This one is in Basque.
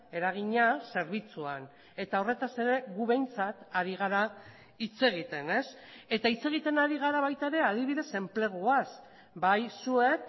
eragina zerbitzuan eta horretaz ere gu behintzat ari gara hitz egiten eta hitz egiten ari gara baita ere adibidez enpleguaz bai zuek